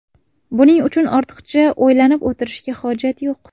Buning uchun ortiqcha o‘ylanib o‘tirishga hojat yo‘q.